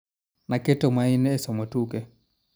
Naketo maino ee somo tuke